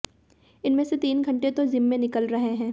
इनमें तीन घंटे तो जिम में निकल रहे हैं